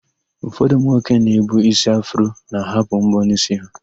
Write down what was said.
Ụfọdụ ụmụnwoke na-ebu ísí afro na-ahapụ m̀bọ́ n'ísí ha.